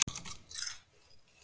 Alltaf glatt á hjalla.